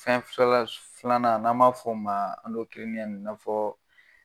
Fɛn flala filanan n'a maa fɔ ma i nafa fɔ.